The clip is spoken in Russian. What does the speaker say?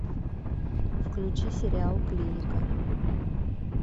включи сериал клиника